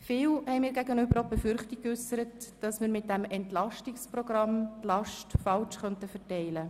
Viele haben mir gegenüber die Befürchtung geäussert, dass wir bei diesem EP die Last falsch verteilen könnten.